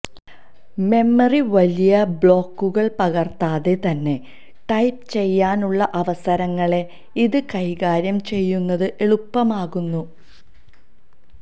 memory വലിയ ബ്ലോക്കുകൾ പകർത്താതെ തന്നെ ടൈപ്പ് ചെയ്യാനുള്ള അവസരങ്ങളെ ഇത് കൈകാര്യം ചെയ്യുന്നത് എളുപ്പമാക്കുന്നു